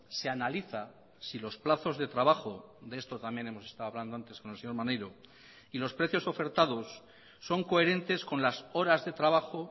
se analiza si los plazos de trabajo de esto también hemos estado hablando antes con el señor maneiro y los precios ofertados son coherentes con las horas de trabajo